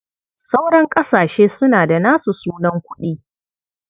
Sauran ƙasashe suna da nasu sunan kuɗi.